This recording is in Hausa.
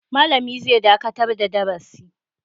Malami zai dakatar da darasi.